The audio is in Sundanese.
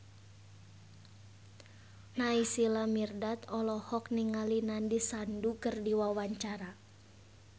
Naysila Mirdad olohok ningali Nandish Sandhu keur diwawancara